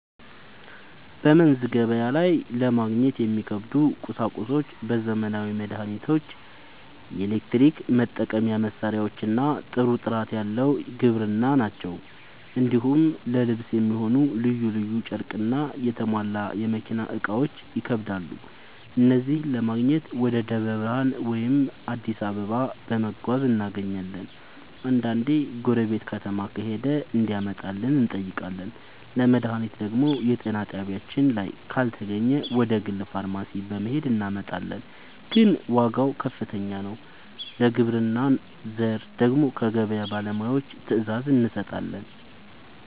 በመንዝ ገበያ ላይ ለማግኘት የሚከብዱ ቁሳቁሶች ዘመናዊ መድሃኒቶች፣ የኤሌክትሪክ መጠቀሚያ መሳሪያዎችና ጥሩ ጥራት ያለው የግብርና ᛢል ናቸው። እንዲሁም ለልብስ የሚሆን ልዩ ልዩ ጨርቅና የተሟላ የመኪና እቃዎች ይከብዳሉ። እነዚህን ለማግኘት ወደ ደብረ ብርሃን ወይም አዲስ አበባ በመጓዝ እናገኛለን፤ አንዳንዴ ጎረቤት ከተማ ከሄደ እንዲያመጣልን እንጠይቃለን። ለመድሃኒት ደግሞ የጤና ጣቢያችን ላይ ካልተገኘ ወደ ግል ፋርማሲ በመሄድ እናመጣለን፤ ግን ዋጋው ከፍተኛ ነው። ለግብርና ዘር ደግሞ ከገበያ ባለሙያዎች ትዕዛዝ እንሰጣለን።